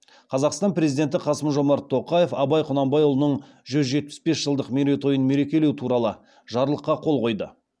қазақстан президенті қасым жомарт тоқаев абай құнанбайұлының жүз жетпіс бес жылдық мерейтойын мерекелеу туралы жарлыққа қол қойды